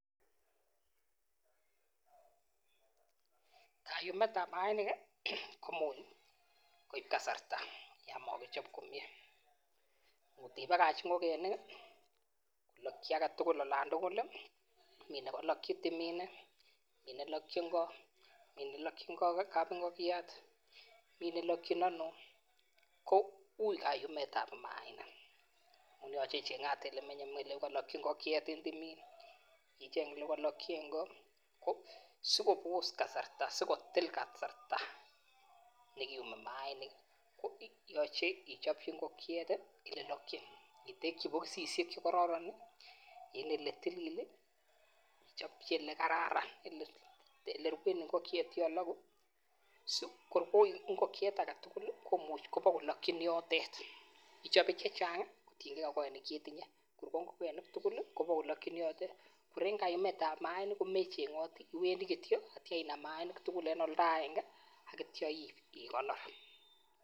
Kayumet ab mainik komuche koib kasarta yamakichop komyee ngotibakach ngokenik kolakyi olatugul kou tumiin KO mi nelakyin kab ingekoken ako mi nelakyin anoo ko ui kayumet ab mainik ko sikotil kasarta koyochei ichopchi ngokiet olelokyin itekyi bokosisiek chekororon ak oletilil akichopchi olekararan singoruei ngokiet kuloku en yotet akichopei olechang kotienkei ngokenik chetinye olokyin yotet akium akiib